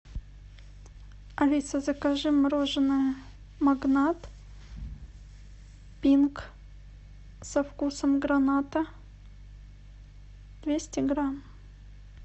алиса закажи мороженое магнат пинк со вкусом граната двести грамм